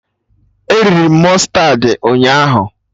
E riri m mụstardị ụnyaahụ